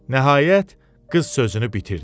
Nəhayət qız sözünü bitirdi.